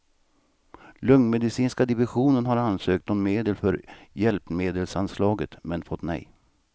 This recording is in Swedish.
Lungmedicinska divisionen har ansökt om medel från hjälpmedelsanslaget, men fått nej.